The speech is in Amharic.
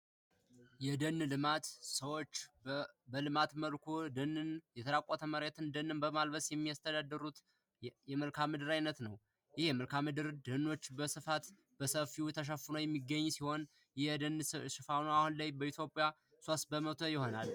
የደን ልማት : የደን ልማት ሰወቹ የተራቆተ መሬትን ደንን በማልበስ የሚያስተዳድሩት የመልካም ምድር አይነት ነዉ ።ይህ የመልካም ምድር ደኖች በስፋት በሰፊዉ ተሸፍኖ የሚገኝ ሲሆን ይህ የደን ሽፋኑ አሁን ላይ በኢትዮጵያ ሶስት በመቶ ይሆናል።